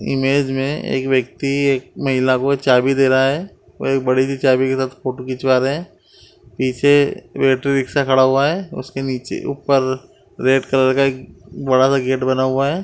Image में एक व्यक्ति एक महिला को एक चाबी दे रहा है। वो एक बड़ी सी चाबी के साथ फोटो खिंचवा रहे है। पीछे बैटरी रिक्शा खड़ा हुआ है। उसके नीचे ऊपर रेड कलर का एक बड़ा सा गेट बना हुआ है।